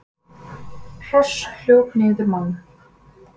Hross hljóp niður mann